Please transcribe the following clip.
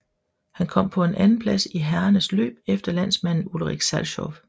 Han kom på en andenplads i herrernes løb efter landsmanden Ulrich Salchow